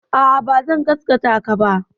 A'a, bazan gasgataka ba.